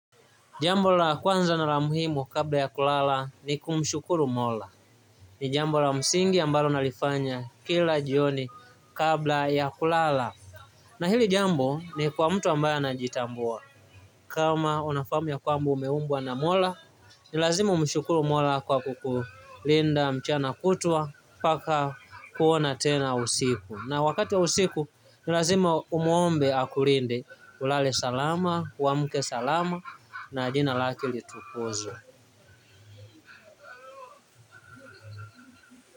Jambo la kwanza na la muhimu kabla ya kulala ni kumshuruku Mola. Ni jambo la msingi ambalo nalifanya kila jioni kabla ya kulala. Na hili jambo ni kwa mtu ambaye anajitambua. Kama unafahamu kwamba umeumbwa na Mola ni lazima umshukuru Mola kwa kukulinda mchana kutwa mpaka kuona tena usiku na wakati wa usiku lazima umuombe akulinde ulale salama uamke salama na jina lake litukuzwe.